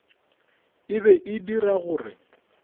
e be e dira gore